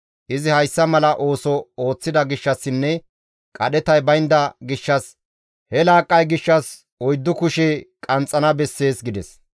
Izi hayssa mala ooso ooththida gishshassinne qadhetay baynda gishshas he laaqqay gishshas oyddu kushe qanxxana bessees» gides.